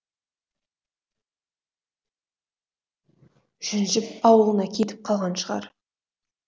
жүнжіп ауылына кетіп қалған шығар